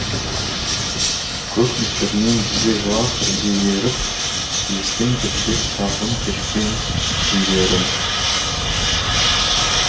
көк нөсермен бірге жылап бірге еріп естен кетпес шалғын кешкен күндерім